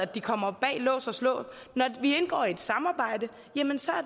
de kommer bag lås og slå når vi indgår i et samarbejde